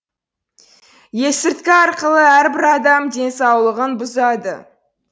есірткі арқылы әрбір адам денсаулығын бұзады